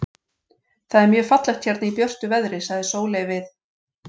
Það er mjög fallegt hérna í björtu veðri, sagði Sóley við